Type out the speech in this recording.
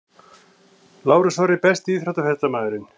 Lárus Orri Besti íþróttafréttamaðurinn?